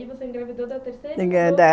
E aí você engravidou da terceira?